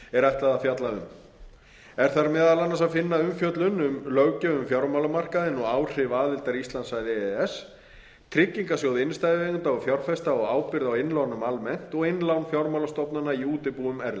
er ætlað að fjalla um er þar meðal annars að finna umfjöllun um löggjöf um fjármálamarkaðinn og áhrif aðildar íslands að e e s tryggingarsjóð innstæðueigenda og fjárfesta og ábyrgð á innlánum almennt og innlán fjármálastofnana í útibúum erlendis